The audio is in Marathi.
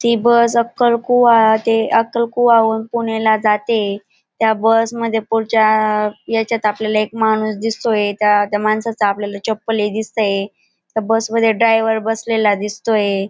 ती बस अक्कल कुवा ते अक्कलकुवा होऊन पुणेला जाते त्या बस मध्ये पुढच्या याच्यात आपल्याला एक माणूस दिसतोय त्या माणसाची आपल्याला एक चप्पल दिसते त्या बसमध्ये ड्रायव्हर बसलेला दिसतोय.